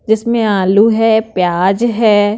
जिसमें आलू है प्याज है।